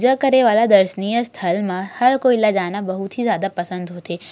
पूजा करे वला दर्शियाँ स्थल मा हर कोई ला जाना बहुत ही ज्यादा पसंद होथे।